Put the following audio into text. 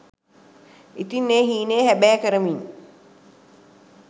ඉතින් ඒ හීනය හැබෑ කරමින්